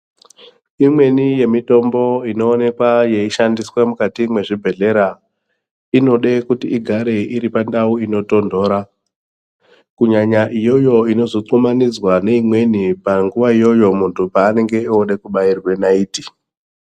Imweni yemitombo inoonekwa yeishandiswa mukati mezvibhedhlera inoda kuti igare iri pandau inotondora kunyanya iyoyo inozothumanidzaa neimweni panguva iyoyo muntu paanenge oda kubairwa naiti.